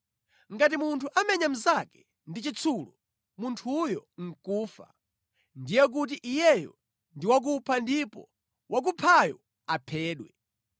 “ ‘Ngati munthu amenya mnzake ndi chitsulo, munthuyo nʼkufa, ndiye kuti iyeyo ndi wakupha ndipo wakuphayo aphedwe.